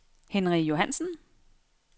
Henry Johannsen